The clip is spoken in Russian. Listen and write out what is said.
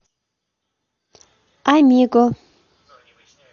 амиго